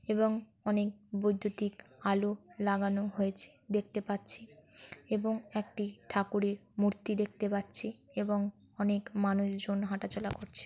এবং অনেক বৈদ্যুতিক আলো লাগানো হয়েছে দেখতে পাচ্ছি এবং একটি ঠাকুরের মূর্তি দেখতে পাচ্ছি এবং অনেক মানুষজন হাঁটাচলা করছে।